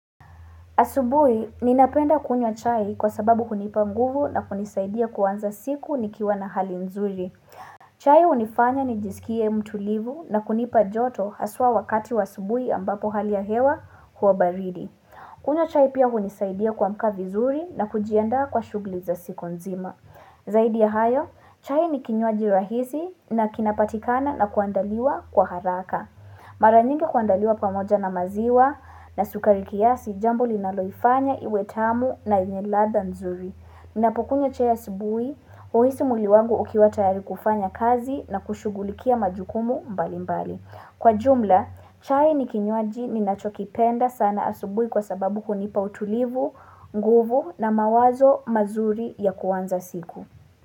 Asubui, ninapenda kunya chai kwa sababu kunipa mguvu na kunisaidia kuanza siku ni kiwa na hali mzuri. Chai unifanya nijisikie mtulivu na kunipa joto haswa wakati wa subui ambapo hali ya hewa huwa baridi. Kunywa chai pia kunisaidia kuamka vizuri na kujianda kwa shugli za siku nzima. Zaidi ya hayo, chai ni kinywaji rahizi na kinapatikana na kuandaliwa kwa haraka. Mara nyingi kuandaliwa pamoja na maziwa na sukari kiasi jambo linaloifanya iwe tamu na iniladha nzuri Minapokunye chai asubui, uhisi muli wangu ukiwata yari kufanya kazi na kushugulikia majukumu mbali mbali Kwa jumla, chai ni kinyoaji ni nachokipenda sana asibui kwa sababu kunipa utulivu, nguvu na mawazo mazuri ya kuanza siku.